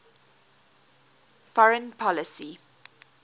foreign policy